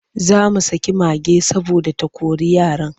Za mu saki mage saboda ta kori yaran.